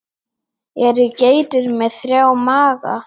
Eru geitur með þrjá maga?